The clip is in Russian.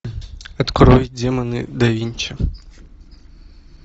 открой демоны да винчи